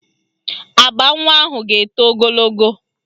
Agba nwa ahụ ga-eto ogologo